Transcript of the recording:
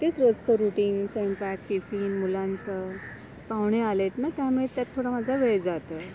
तेच रोजच रुटीन, स्वयंपाक, टिफिन, मुलांचं, पाहुणे आलेत ना त्यामुळे त्यात थोडं माझा वेळ जातोय.